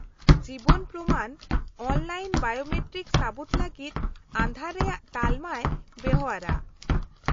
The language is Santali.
-ᱡᱤᱵᱚᱱ ᱯᱨᱚᱢᱟᱱ ᱚᱱᱞᱟᱭᱤᱱ ᱵᱟᱭᱳᱢᱮᱴᱨᱤᱠ ᱥᱟᱹᱵᱩᱛ ᱞᱟᱹᱜᱤᱫ ᱟᱸᱫᱷᱟᱨ ᱨᱮᱭᱟᱜ ᱛᱟᱞᱢᱟᱭ ᱵᱮᱣᱦᱟᱨᱼᱟ ᱾